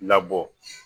Labɔ